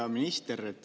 Hea minister!